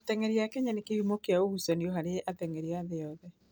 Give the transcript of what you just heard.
Ateng'eri a Kenya nĩ kĩhumo kĩa ũgucania harĩ ateng'eri a thĩ yothe.